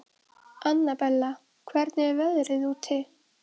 Annabella, hvernig er veðrið úti?